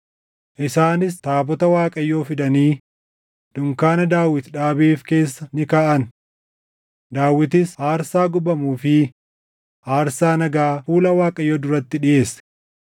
Isaanis taabota Waaqayyoo fidanii dunkaana Daawit dhaabeef keessa ni kaaʼan; Daawitis aarsaa gubamuu fi aarsaa nagaa fuula Waaqayyoo duratti dhiʼeesse.